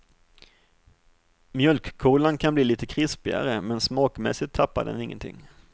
Mjölkkolan kan bli lite krispigare, men smakmässigt tappar den ingenting.